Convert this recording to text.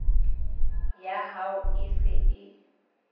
ya hao e se e